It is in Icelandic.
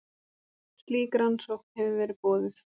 Slík rannsókn hefur verið boðuð